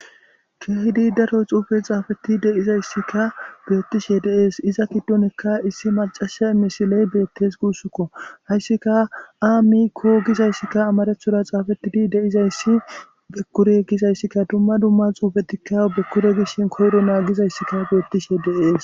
keehidi daro xuufe xaafeti de'izayssikka beettishe de'es, iza giddonekka issi macasha emmisiley beettes guussukko hayssika a miikko gizayssikka amarethora xaafetidi deizayssi bekkure gizayssikka dumma dumma xuufetikka bekkure gishshin koyro na gizayssikka beettishe de'es